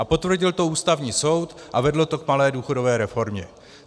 A potvrdil to Ústavní soud a vedlo to k malé důchodové reformě.